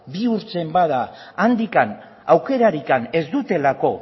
bihurtzen bada handik aukerarik ez dutelako